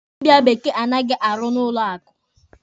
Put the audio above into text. Dịbịa bekee anaghị arụ na ụlọ akụ.